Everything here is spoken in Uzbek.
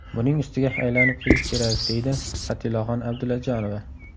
Buning ustiga aylanib kelish kerak, – deydi Patilaxon Abdullajonova.